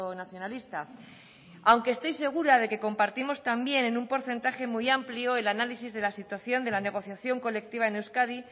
nacionalista aunque estoy segura de que compartimos también en un porcentaje muy amplio el análisis de la situación de la negociación colectiva en euskadi